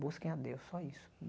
Busquem a Deus, só isso.